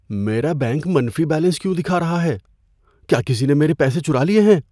میرا بینک منفی بیلنس کیوں دکھا رہا ہے؟ کیا کسی نے میرے پیسے چرا لیے ہیں؟